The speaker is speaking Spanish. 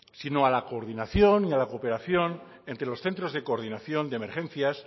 sino a la coordinación y a la cooperación entre los centros de coordinación de emergencias